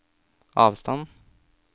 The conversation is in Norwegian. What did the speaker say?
avstand